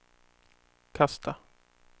kasta